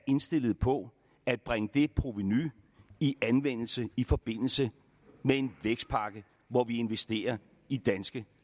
indstillet på at bringe det provenu i anvendelse i forbindelse med en vækstpakke hvor vi investerer i danske